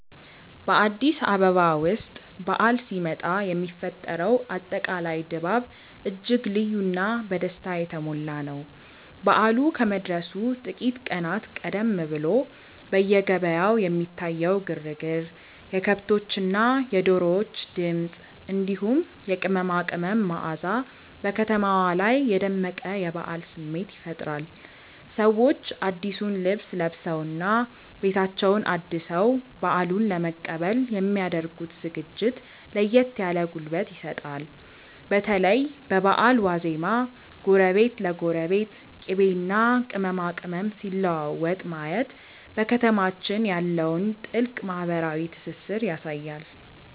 በአዲስ አበባ ውስጥ በዓል ሲመጣ የሚፈጠረው አጠቃላይ ድባብ እጅግ ልዩና በደስታ የተሞላ ነው። በዓሉ ከመድረሱ ጥቂት ቀናት ቀደም ብሎ በየገበያው የሚታየው ግርግር፣ የከብቶችና የዶሮዎች ድምፅ፣ እንዲሁም የቅመማ ቅመም መዓዛ በከተማዋ ላይ የደመቀ የበዓል ስሜት ይፈጥራል። ሰዎች አዲሱን ልብስ ለብሰውና ቤታቸውን አድሰው በዓሉን ለመቀበል የሚ ያደርጉት ዝግጅት ለየት ያለ ጉልበት ይሰጣል። በተለይ በበዓል ዋዜማ ጎረቤት ለጎረቤት ቅቤና ቅመማ ቅመም ሲለዋወጥ ማየት በከተማችን ያለውን ጥልቅ ማህበራዊ ትስስር ያሳያል።